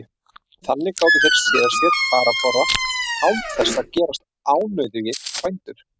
Þannig gátu þeir séð sér farborða án þess að gerast ánauðugir bændur.